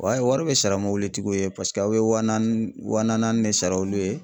wari bɛ sara tigiw ye paseke aw bɛ wa naani wa nanaani de sara olu ye.